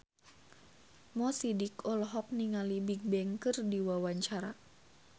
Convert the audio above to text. Mo Sidik olohok ningali Bigbang keur diwawancara